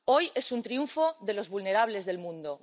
Hoy es un triunfo de los vulnerables del mundo.